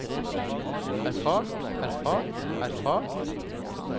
erfart erfart erfart